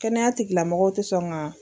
Kɛnɛya tigilamɔgɔw tɛ sɔn kan.